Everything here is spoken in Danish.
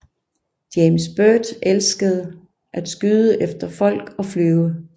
James Byrd elsker at skyde efter folk og flyve